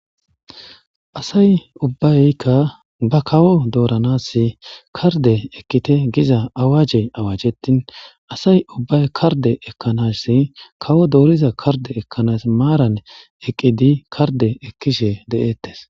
asay ubbayykka ba kawo dooranas karde ekkite giza awaje awajetin asay ubbay karde ekkanassi kawo dooriza karde ekkanas maaran eqqidi karde ekkishe de7eettes